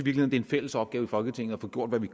er en fælles opgave for folketinget at få gjort hvad vi